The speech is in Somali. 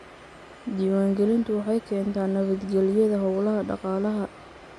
Diiwaangelintu waxay keentaa nabad gelyada hawlaha dhaqaalaha.